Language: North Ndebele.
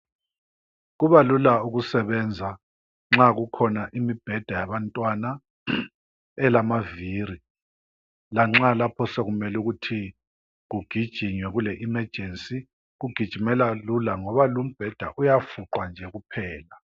Kubalula ukusebenza nxa kukhona imibheda yabantwana elamavili, lanxa lapho sokumele ukuthi kugijinywe kule"emergency" kugijimeka lula ngoba lumbheda uyafuqwa nje kuphela.